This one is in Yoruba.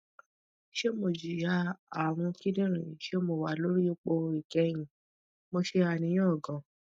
se mo jiya arun kidirin se mo wa lori ipo ikehin mo se aniyan gan